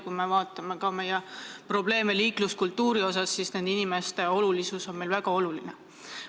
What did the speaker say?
Kui me vaatame ka meie probleeme liikluskultuuriga, siis näeme, et need inimesed on meile väga olulised.